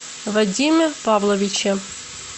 вадиме павловиче